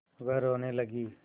वह रोने लगी